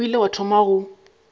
o ile wa thoma go